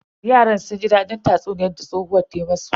Yaran sun ji dadin tatsuniyan da tsohuwar ta musu.